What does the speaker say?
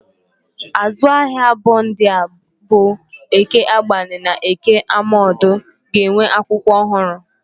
Azụ ahịa abụọ ndị a bụ Eke agbani na Eke Amodu ga-enwe akwụkwọ ọhụrụ.